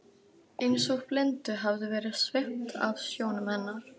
Eins og blindu hafi verið svipt af sjónum hennar.